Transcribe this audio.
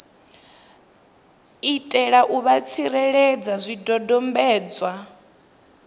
itela u vha tsireledza zwidodombedzwa